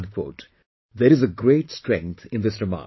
" There is great strength in this remark